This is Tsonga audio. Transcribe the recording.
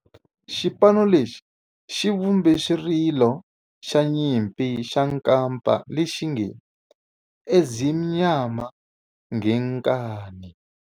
Xipano lexi xi vumbe xirilo xa nyimpi xa kampa lexi nge 'Ezimnyama Ngenkani'.